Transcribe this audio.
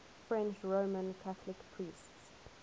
french roman catholic priests